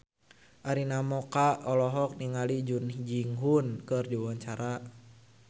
Arina Mocca olohok ningali Jung Ji Hoon keur diwawancara